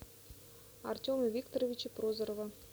артема викторовича прозорова